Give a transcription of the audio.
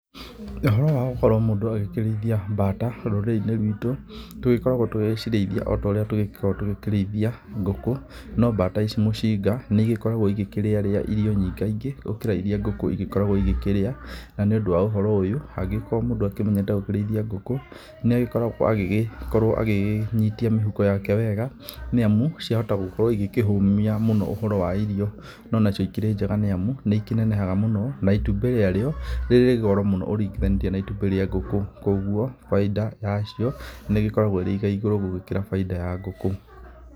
Ũhoro wa gũkorwo mũndũ agĩkĩrĩithia bata rũrĩrĩ-inĩ rwitũ, tũgĩkoragwo tũgĩgĩcirĩithia o ta ũrĩa tũgĩkoragwo tũgĩkĩrĩithia ngũkũ, no bata ici mũcinga, nĩ igĩkoragwo igĩkĩrĩarĩa irio nyingaingĩ gũkĩra iria ngũku igĩkoragwo igĩkĩrĩa. Na nĩ ũndũ wa ũhoro ũyũ, angĩkorwo mũndũ akĩmenyerete gũkorwo akĩrĩithia ngũkũ, no agĩkorwo agĩgĩnyitia mĩhuko yake wega, nĩ amu ciahota gũgĩkorwo igĩkĩhũmia mũno ũhoro wa irio. Na cio ikĩrĩ njega nĩ amu, nĩ ikĩnenehaga mũno na itumbĩ rĩa rĩo nĩ rĩrĩ goro mũno ũringithanĩtie na itumbĩ rĩa ngũkũ, kũguo bainda ya cio nĩ ĩgĩkoragwo ĩrĩ igaigũrũ gũgĩkĩra bainda ya ngũkũ.